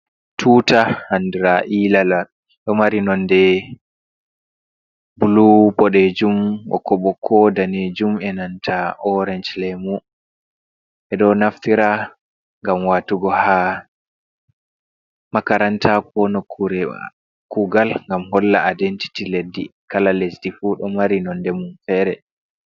"Tuta" andira ilala mari nonde bulu boɗejum, ɓokko ɓokko danejum enanta orange lemu edo naftira ngam watugo ha makaranta kugal gam holla aidentiti leɗɗi kala lesdi fu do mari nonde mum fere.